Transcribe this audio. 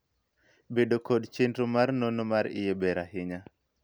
bedo kod chenro mar nonro mar iye ber ahinya